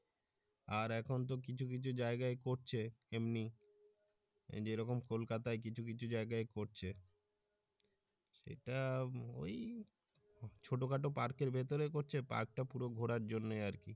আর এখন তো কিছু কিছু জায়গায় করছে এমনি যেরকম কলকাতায় কিছু কিছু জায়গায় করছে সেটা ওই ছোট খাটো পার্কের ভিতরে করছে পার্ক পুরো ঘোরার জন্য আরকি